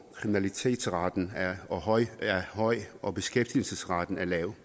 kriminalitetsraten er er høj høj og beskæftigelsesraten lav